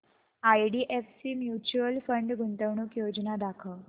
IDFC mutual fund गुंतवणूक योजना दाखव